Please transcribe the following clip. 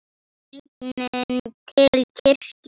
Genginn til kirkju.